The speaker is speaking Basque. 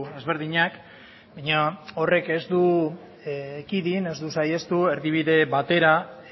ezberdinak baina horrek ez du ekidin ez du saihestu erdibide batera